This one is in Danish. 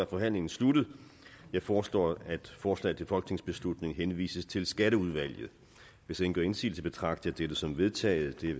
forhandlingen sluttet jeg foreslår at forslaget til folketingsbeslutning henvises til skatteudvalget hvis ingen gør indsigelse betragter jeg dette som vedtaget det